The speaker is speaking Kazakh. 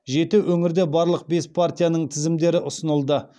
жеті өңірде барлық бес партияның тізімдері ұсынылды